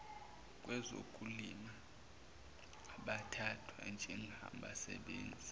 kwezokulima abathathwa njengabasebenzi